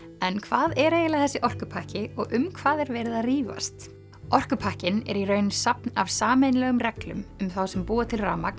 en hvað er eiginlega þessi orkupakki og um hvað er verið að rífast orkupakkinn er í raun safn af sameiginlegum reglum um þá sem búa til rafmagn